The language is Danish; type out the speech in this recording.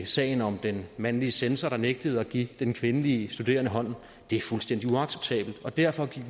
sagen om den mandlige censor der nægtede at give den kvindelige studerende hånden det er fuldstændig uacceptabelt og derfor